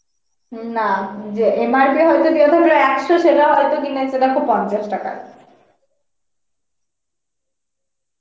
উম না যে MRP হয়ত দেওয়া থাকলো একশো সেটা হয়ত কিনেছে দেখো পঞ্চাশ টাকায়